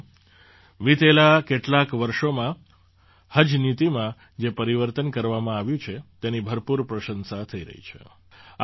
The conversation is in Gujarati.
સાથીઓ વિતેલાં કેટલાંક વર્ષોમાં હજ નીતિમાં જે પરિવર્તન કરવામાં આવ્યું છે તેની ભરપૂર પ્રશંસા થઈ રહી છે